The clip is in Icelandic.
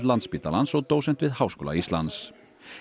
Landspítalans og dósent við Háskóla Íslands